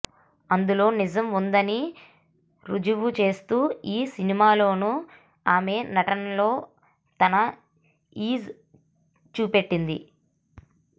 అందులో నిజం ఉందని ఋజువుచేస్తూ ఈ సినిమాలోనూ ఆమె నటనలో తన ఈజ్ చూపెట్టింది